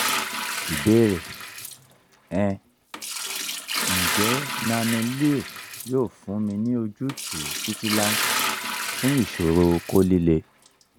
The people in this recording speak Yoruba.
ìbéèrè um njẹ nano-leo yoo funni ni ojutu titilai fun iṣoro okó lile?